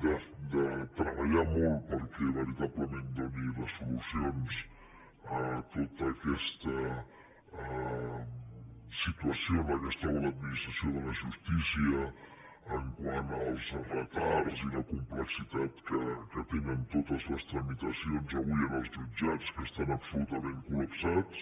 de treballar molt perquè veritablement doni les solucions a tota aquesta situació en què es troba l’administració de la justícia quant als retards i la complexitat que tenen totes les tramitacions avui en els jutjats que estan absolutament col·lapsats